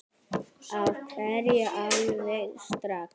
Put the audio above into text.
Af hverju alveg strax?